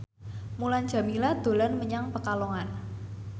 Mulan Jameela dolan menyang Pekalongan